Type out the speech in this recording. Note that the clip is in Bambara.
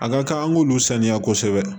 A ka kan an k'olu saniya kosɛbɛ